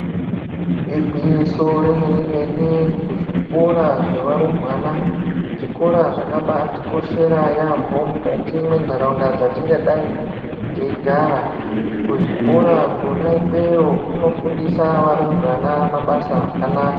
Igwinyiso rememene kuzvikora zvevarumbwana zvikora zvakaba atikoshera yaamho mukati mwenharaunda dzatingadai teigara, kuzvikora kona ikweyo kuno fundisa varumbwana mabasa akanaka.